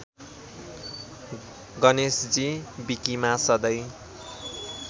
गणेशजी विकिमा सधैं